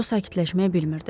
Co sakitləşməyi bilmirdi.